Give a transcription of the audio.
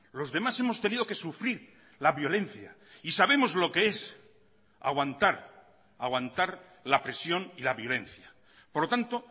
los demás hemos tenido que sufrir la violencia y sabemos lo que es aguantar aguantar la presión y la violencia por lo tanto